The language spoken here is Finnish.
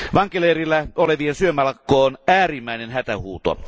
Vankileirillä olevien syömälakko on äärimmäinen hätähuuto.